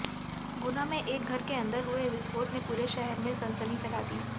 गुना में एक घर के अंदर हुए विस्फोट ने पूरे शहर में सनसनी फैला दी